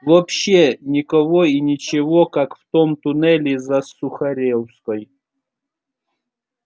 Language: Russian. вообще никого и ничего как в том туннеле за сухаревской